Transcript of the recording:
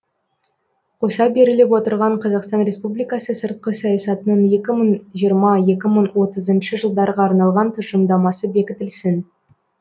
қоса беріліп отырған қазақстан республикасы сыртқы саясатының екі мың жиырма екі мың отызыншы жылдарға арналған тұжырымдамасы бекітілсін